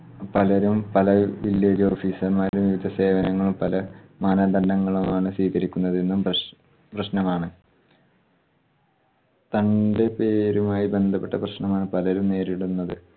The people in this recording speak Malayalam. പലരും പല village officer മ്മാര് സേവനങ്ങളും പല മാനദണ്ഡങ്ങളുമാണ് സ്വീകരിക്കുന്നതെന്നും പ്രശ് പ്രശ്നമാണ്. തന്റെ പേരുമായി ബന്ധപ്പെട്ട പ്രശ്നമാണ് പലരും നേരിടുന്നത്